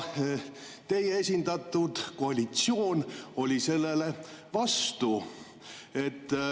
Teie esindatud koalitsioon oli selle vastu.